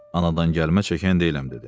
Anadan gəlmə çəkən deyiləm dedi.